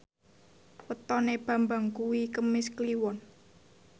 wetone Bambang kuwi Kemis Kliwon